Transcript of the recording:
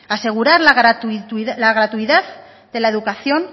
asegurar la gratuidad de la educación